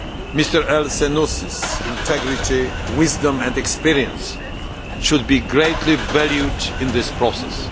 Mr al Sanusi's integrity, wisdom and experience should be greatly valued in this process.